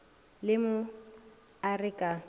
le mo a re ka